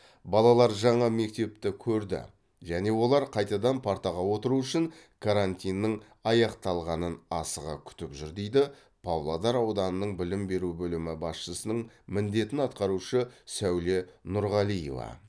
балалар жаңа мектепті көрді және олар қайтадан партаға отыру үшін карантиннің аяқталғанын асыға күтіп жүр дейді павлодар ауданының білім беру бөлімі басшысының міндетін атқарушы сәуле нұрғалиева